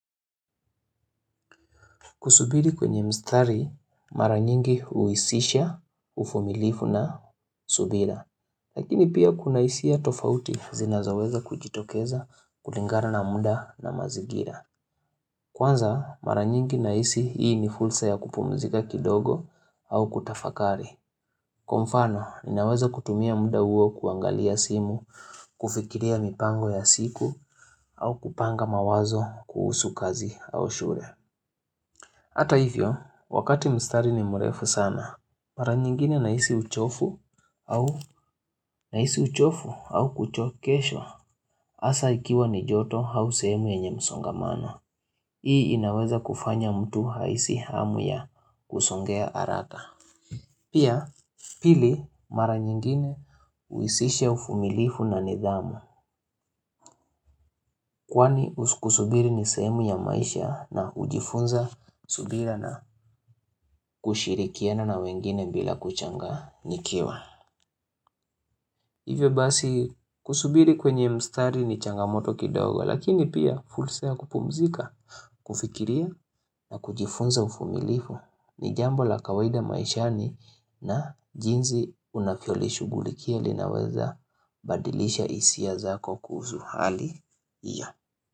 Kusubiri kwenye mstari, mara nyingi huhusisha, uvumilifu na subira. Lakini pia kuna hisia tofauti zinazoweza kujitokeza kulingana na muda na mazingira. Kwanza, mara nyingi nahisi hii ni fursa ya kupumzika kidogo au kutafakari. Kwa mfano, ninaweza kutumia muda huo kuangalia simu, kufikiria mipango ya siku au kupanga mawazo kuhusu kazi au shule. Hata hivyo, wakati mstari ni mrefu sana, mara nyingine nahisi uchovu au kuchokeshwa hasa ikiwa ni joto au sehemu yenye msongamano. Hii inaweza kufanya mtu ahisi hamu ya kusongea haraka. Pia, pili, mara nyingine huhusisha uvumilifu na nidhamu kwani kusubiri ni sehemu ya maisha na hujifunza subira na kushirikiana na wengine bila kushangaa nikiwa. Hivyo basi kusubiri kwenye mstari ni changamoto kidogo lakini pia fursa ya kupumzika kufikiria na kujifunza uvumilifu ni jambo la kawaida maishani na jinsi unavyolishughulikia linaweza badilisha hisia zako kuhusu hali hiyo.